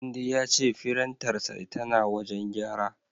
Tunde ya ce firintarsa tana wajen gyara.